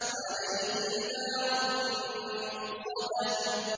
عَلَيْهِمْ نَارٌ مُّؤْصَدَةٌ